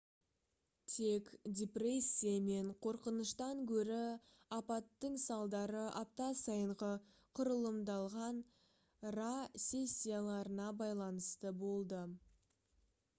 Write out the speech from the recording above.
тек депрессия мен қорқыныштан гөрі апаттың салдары апта сайынғы құрылымдалған pa сессияларына байланысты болды